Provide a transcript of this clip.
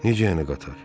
Necə yəni qatar?